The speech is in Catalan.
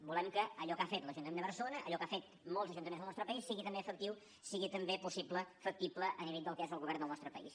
volem que allò que ha fet l’ajuntament de barcelona allò que han fet molts ajuntaments del nostre país sigui també efectiu sigui també possible factible a nivell del que és el govern del nostre país